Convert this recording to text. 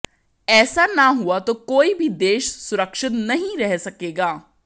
ऐसा न हुआ तो कोई भी देश सुरक्षित नहीं रह सकेगा